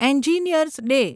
engineer's day